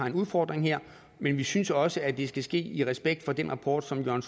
en udfordring her men vi synes også at det skal ske i respekt for den rapport som jørgen